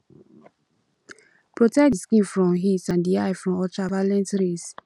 protect di skin from heat and di eye from ultra violet rays